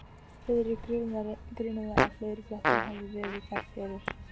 Friðrik grunaði, að fleiri blettir hefðu verið þar fyrir.